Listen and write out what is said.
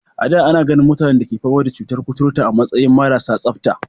A da, ana ganin mutanen da ke fama da cutar kuturta a matsayin marasa tsabta.